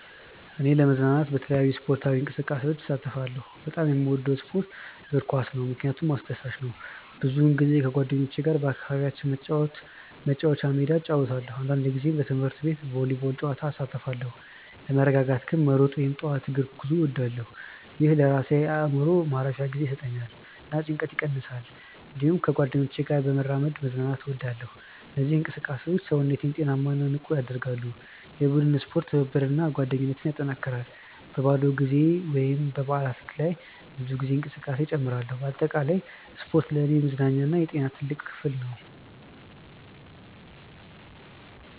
እኔ ለመዝናናት በተለያዩ ስፖርታዊ እንቅስቃሴዎች እሳተፋለሁ። በጣም የምወደው ስፖርት እግር ኳስ ነው፣ ምክንያቱም አስደሳች ነው። ብዙ ጊዜ ከጓደኞቼ ጋር በአካባቢያችን መጫወቻ ሜዳ እጫወታለሁ። አንዳንድ ጊዜ በትምህርት ቤት ቮሊቦል ጨዋታ እሳተፋለሁ። ለመረጋጋት ግን መሮጥ ወይም ጠዋት እግር ጉዞ እወዳለሁ። ይህ ለራሴ አእምሮ ማረፊያ ጊዜ ይሰጠኛል እና ጭንቀትን ይቀንሳል። እንዲሁም ከጓደኞቼ ጋር በመራመድ መዝናናት እወዳለሁ። እነዚህ እንቅስቃሴዎች ሰውነቴን ጤናማ እና ንቁ ያደርጋሉ። የቡድን ስፖርት ትብብርን እና ጓደኝነትን ያጠናክራል። በባዶ ጊዜ ወይም በበዓላት ላይ ብዙ ጊዜ እንቅስቃሴ እጨምራለሁ። በአጠቃላይ ስፖርት ለእኔ የመዝናኛ እና የጤና ትልቅ ክፍል ነው።